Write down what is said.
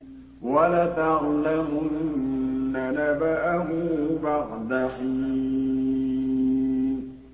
وَلَتَعْلَمُنَّ نَبَأَهُ بَعْدَ حِينٍ